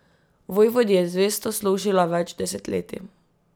Vojvodi je zvesto služila več desetletij.